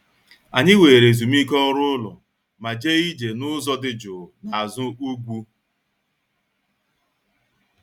Anyị were ezumike ọrụ ụlọ ma jee ije n'ụzọ dị jụụ n'azụ ugwu